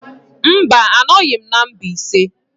Mba, anọghị m na Mbaise.